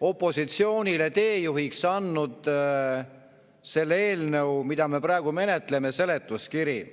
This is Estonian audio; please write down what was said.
opositsioonile teejuhiks selle eelnõu, mida me praegu menetleme, seletuskiri.